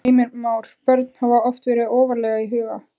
Heimir Már: Börn hafa oft verið ofarlega í huga?